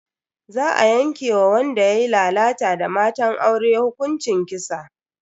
Za a yanke wa wanda yayi lalata da matan aure hukuncin kisa.